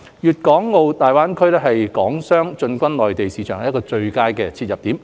粵港澳大灣區是港商進軍內地市場的最佳切入點。